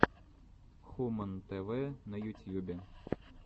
хумэн тэ вэ на ютьюбе